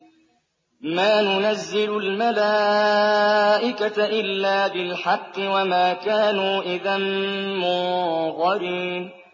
مَا نُنَزِّلُ الْمَلَائِكَةَ إِلَّا بِالْحَقِّ وَمَا كَانُوا إِذًا مُّنظَرِينَ